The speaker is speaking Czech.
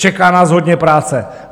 Čeká nás hodně práce.